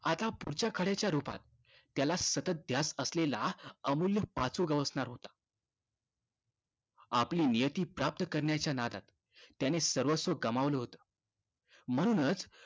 आता पुढच्या खड्याच्या रूपात त्याला सतत ध्यास असलेला अमूल्य पाचू गवसणार होता. आपली नियती प्राप्त करण्याच्या नादात त्याने सर्वस्व गमावलं होतं. म्हणूनचं